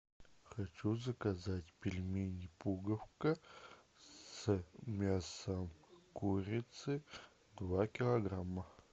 хочу заказать пельмени пуговка с мясом курицы два килограмма